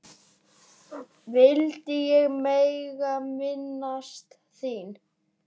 vildi ég mega minnast þín.